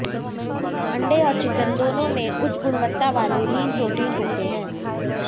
अंडे और चिकन दोनों में उच्च गुणवत्ता वाले लीन प्रोटीन होते हैं